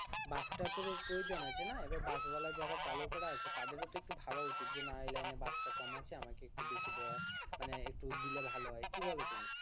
বাস টারও তো প্রয়োজন আছে না বাস ওয়ালা যারা চালকরা আছে তাদেরও তো একটু ভাবা উচিত যে না এই লাইনে বাস টা কম আছে আমাকে একটু বেশি দেওয়া মানে একটু দিলে ভালো হয় কি বলো